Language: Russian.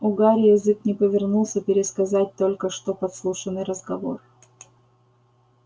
у гарри язык не повернулся пересказать только что подслушанный разговор